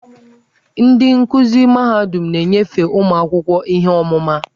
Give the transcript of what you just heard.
Ndị nkuzi mahadum na-enyefe ụmụ akwụkwọ ihe ọmụma.